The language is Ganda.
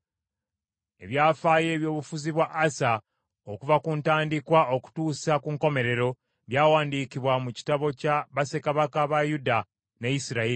Ebyafaayo eby’obufuzi bwa Asa okuva ku ntandikwa okutuusa ku nkomerero, byawandiikibwa mu kitabo kya bassekabaka ba Yuda ne Isirayiri.